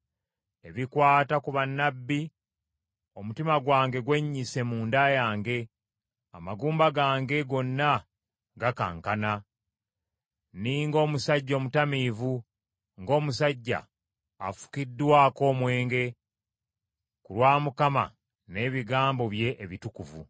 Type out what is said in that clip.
Ebikwata ku bannabbi: omutima gwange gwennyise mu nda yange amagumba gange gonna gakankana, nninga omusajja omutamiivu, ng’omusajja afugiddwa omwenge, ku lwa Mukama n’ebigambo bye ebitukuvu.